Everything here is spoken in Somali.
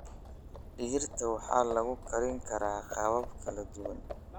Digirta waxaa lagu karin karaa qaabab kala duwan.